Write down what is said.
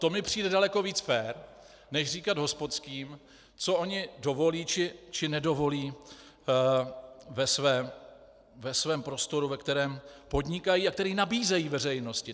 To mi přijde daleko víc fér než říkat hospodským, co oni dovolí či nedovolí ve svém prostoru, ve kterém podnikají a který nabízejí veřejnosti.